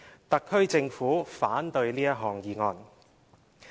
特區政府反對這項議案。